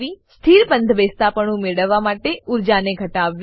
સ્થિર બંધબેસતાપણું મેળવવા માટે ઊર્જાને ઘટાડવી